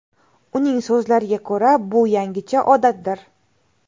Uning so‘zlariga ko‘ra, bu yangicha odatdir.